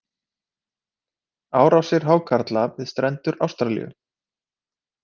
Árásir hákarla við strendur Ástralíu.